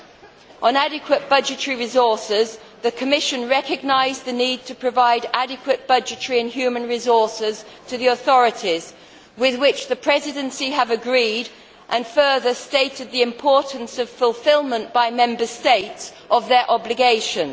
Concerning adequate budgetary resources, the Commission has recognised the need to provide adequate budgetary and human resources to the authorities, with which the Presidency has agreed and, further, stated the importance of fulfilment by Member States of their obligations.